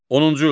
10-cu.